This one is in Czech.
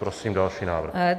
Prosím další návrh.